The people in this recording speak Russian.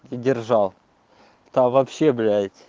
и держал там вообще блять